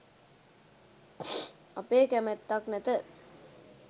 අපේ කැමැත්තක් නැත.